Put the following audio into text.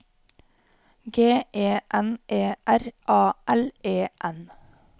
G E N E R A L E N